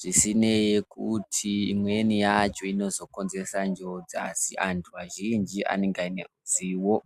Zvisinei nekuti imweni yacho inozokonzeresa njodzi, asi antu azhinji anenge pane ruzivo.